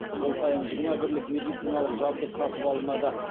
жыл сайын жиырма бірлік медициналық жабдық сатып алынады